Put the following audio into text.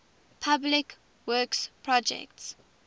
public works projects